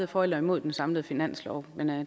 for eller imod den samlede finanslov